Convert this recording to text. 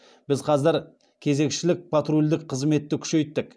біз қазір кезекшілік патрульдік қызметті күшейттік